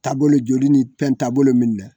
Taabolo joli ni pɛn taabolo min dɛ